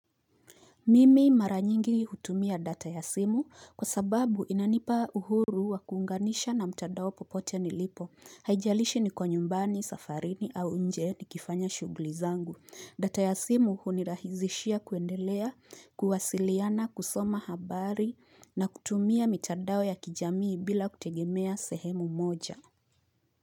Mimi mara nyingi hutumia data ya simu kwa sababu inanipa uhuru wa kuunganisha na mtadao popote nilipo, haijalishi niko nyumbani, safarini au nje nikifanya shughuli zangu data ya simu hunirahizishia kuendelea kuwasiliana kusoma habari na kutumia mitandao ya kijamii bila kutegemea sehemu moja.